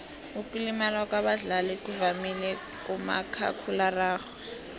ukulimala kwabadlali kuvamile kumakhakhulararhwe